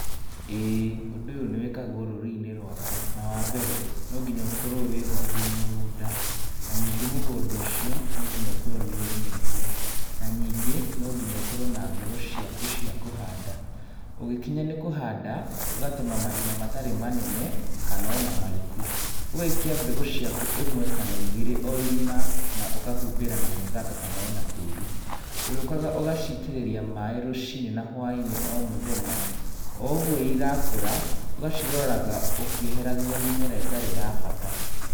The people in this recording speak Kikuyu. ĩĩ ũndũ ũyũ nĩ wĩkagwo rũrĩrĩ-inĩ rwakwa na wa mbere no nginya ũkorwo wĩgwatĩire mũgũnda. Na nyingĩ mũgũnda ũcio no nginya ũkorwo nĩ ũrĩmĩtwo. Na nyingĩ no nginya ũkorwo na mbegũ ciaku cia kũhanda. Ũgĩkinya nĩ kũhanda ũgatema marima matarĩ manene kana ona mariku. Ũgaikia mbegũ ciaku ĩmwe kana igĩrĩ o irima na ũkahumbĩra na mũthanga kana ona tĩĩri. Ũrĩũkaga ũgacitĩrĩria maĩ rũci-inĩ na hwai-inĩ o mũthenya o ũguo irakũra. Ũgaciroraga ũkĩeheragia mĩmera ĩtarĩ ya bata.